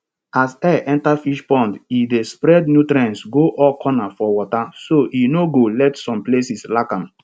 as air enta fish pond e dey spread nutrients go all corner for water so e no go let some places lack am